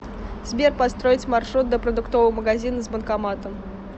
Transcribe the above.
сбер построить маршрут до продуктового магазина с банкоматом